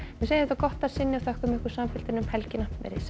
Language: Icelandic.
við segjum þetta gott að sinni og þökkum samfylgdina um helgina veriði sæl